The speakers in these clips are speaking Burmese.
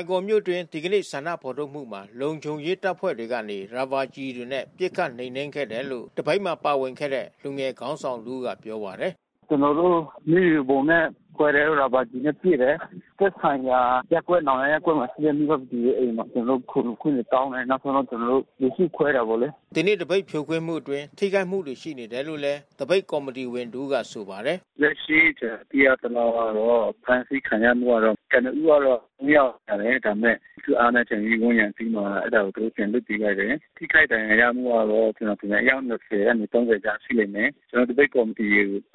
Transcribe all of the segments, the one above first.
င်ကော်မြို့အတွင်း ဒီကနေ့ ဆန္ဒဖော်ထုတ်မှုမှာ လုံခြုံရေးတပ်ဖွဲ့တွေကနေ ရာဘာကျည်တွေနဲ့ ပစ်ခတ်နှိမ်နင်းခဲ့တယ်လို့ သပိတ်မှာ ပါဝင်တဲ့ လူငယ်ခေါင်းဆောင်တဦးကပြောပါတယ်။ “ကျနော်တို့ မျက်ရည်ယိုဗုံးနဲ့ ခွဲတယ်။ ရာဘာကျည်နဲ့ ပစ်တယ်။ သက်ဆိုင်ရာရပ်ကွက် နောင်ယားရပ်ကွက်မှာ ရှိတဲ့ မိဘပြည်သူရဲ့အိမ်မှာ ကျနော်တို့ ခိုလှုံခွင့်တွေတောင်းတယ်။ နောက်ဆုံးတော့ ကျနော်တို့ လူစုခွဲတယ်ပေါ့လေ။” ဒီနေ့ သပိတ်ဖြိုခွင်းမှုအတွင်း ထိခိုက်မှုတွေရှိနေတယ်လို့ သပိတ်ကော်မီတီဝင်တဦးက ဆိုပါတယ်။ “လက်ရှိ ကျနော် သိရသလောက်ကတော့ အဖမ်းဆီးခံရမှုကတော့ ကနဦးကတော့ ၂ ယောက်ပါတယ်။ ဒါပေမဲ့ လူထုအားနဲ့ ပြန်ပြီးဝန်းရံပြီးမှ အဲဒါကိုသူတို့ ပြန်လွှတ်ပေးလိုက်တယ်။ ထိခိုက်ဒဏ်ရာရမှုကတော့ အယောက် ၂၀ ကနေ ၃၀ ကြားရှိလိမ့်မယ်။ ကျနော်တို့ သပိတ်ကော်မီတီ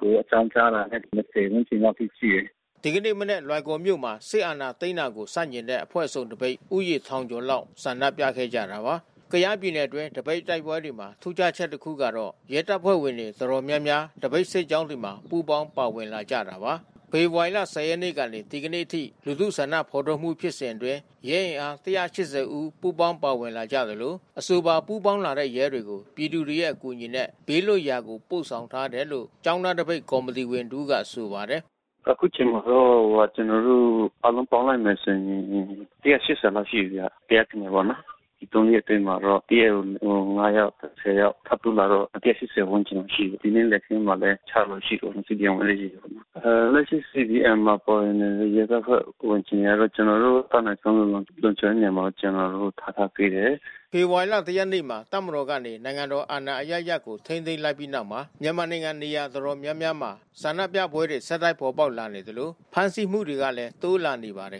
ကို အကြောင်းကြားလာတာ ၂၀ ဝန်းကျင်လောက် အထိ ရှိတယ်။” ဒီကနေ့ မနက် လွိုင်ကော်မြို့မှာ စစ်အာဏာသိမ်းတာကို ဆန့်ကျင်တဲ့ အဖွဲ့စုံသပိတ် လူဦးရေထောင်ကျော်လောက် ဆန္ဒပြခဲ့ကြတာပါ။ ကယားပြည်နယ်အတွင်း သပိတ်တိုက်ပွဲတွေမှာ ထူးခြားချက်တခုကတော့ ရဲတပ်ဖွဲ့ဝင်တွေတော်တော်များများ သပိတ် စစ်ကြောင်းတွေမှာပူးပေါင်းပါဝင်လာကြတာပါ။ ဖေဖော်ဝါရီ ၁၀ ရက်နေ့ကနေ ဒီကနေ့အထိ လူထုဆန္ဒဖော်ထုတ်မှုဖြစ်စဉ်အတွင်း ရဲအင်အား ၁၈၀ ဦး ပူးပေါင်းပါဝင်လာကြသလို အဆိုပါ ပူးပေါင်းလာတဲ့ ရဲတွေကို ပြည်သူတွေရဲ့အကူအညီနဲ့ ဘေးလွတ်ရာကို ပို့ဆောင်ထားတယ်လို့ ကျောင်းသားသပိတ်ကော်မီတီတဦးကပြောပါတယ်။ “အခုချိန်မှာတော့ ကျနော်တို့ အားလုံးပေါင်းလိုက်မယ်ဆိုရင် ၁၈၀ လောက်ရှိမယ်။ ကယားပြည်နယ်မှာပေါ့နော်။ ဒီ ၃ ရက်အတွင်းမှာတော့ တရက်ကို ၅ ယောက်၊ ၁၀ ယောက် ထပ်တိုးလာတော့ ၁၈၀ ဝန်းကျင်လောက်ရှိတယ်။ ဒီနေ့လယ်ခင်းမှာလည်း ၆ ယောက်လောက်ရှိတယ်။ CDM ဝင်တဲ့ရဲတွေ။ လက်ရှိ CDM မှာပါဝင်တဲ့ ရဲတပ်ဖွဲ့ဝင် အခြေအနေကတော့ ကျနော်တို့ အတတ်နိုင်ဆုံး လုံခြုံတဲ့နေရာမှာ ထားထားပေးတယ်။” ဖေဖော်ဝါရီလ ၁ ရက်နေ့မှာ တပ်မတော်ကနေ နိုင်ငံတော်အာဏာအရပ်ရပ်ကို ထိန်းသိမ်းလိုက်ပြီးနောက်မှာ မြန်မာနိုင်ငံနေရာတော်တော်များများမှာ ဆန္ဒပြပွဲတွေ ဆက်တိုက်ပေါ်ပေါက်လာနေသလို ဖမ်းဆီးမှုတွေကလည်း တိုးလာနေပါတယ်